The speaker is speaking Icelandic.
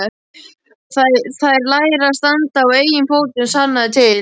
Þær læra að standa á eigin fótum, sannaðu til.